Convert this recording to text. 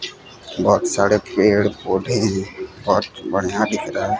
बहोत सारे पेड़ पौधे बहोत बढ़िया दिख रहा--